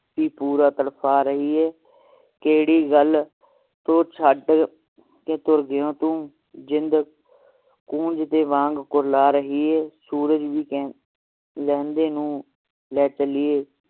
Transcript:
ਕਿ ਪੂਰਾ ਤੜਪ ਰਹੀਏ ਕਿਹੜੀ ਗੱਲ ਤੋਂ ਛੱਡ ਕੇ ਤੁਰ ਗਯਾ ਤੂੰ ਜਿੰਦ ਕੂੰਜ ਦੇ ਵਾਂਗ ਕੁਰਲਾ ਰਹੀ ਹੈ ਸੂਰਜ ਵੀ ਲਹਿੰਦੇ ਨੂੰ